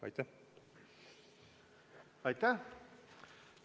Aitäh!